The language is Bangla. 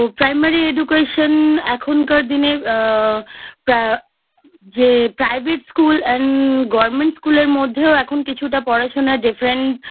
তো Primary Education এখনকার দিনে আ প্রা যে Private School And Government School এর মধ্যেও এখন কিছুটা পড়াশোনার Different